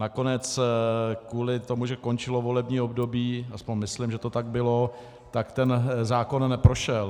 Nakonec kvůli tomu, že končilo volební období, aspoň myslím, že to tak bylo, tak ten zákon neprošel.